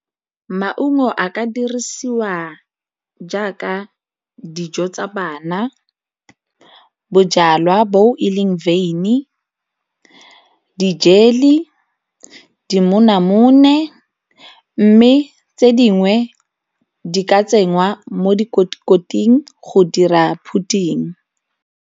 Maungo a ka dirisiwa jaaka dijo tsa bana, bojalwa bo e leng wyn di-jelly, didimonamone mme tse dingwe di ka tsengwa mo go dira pudding.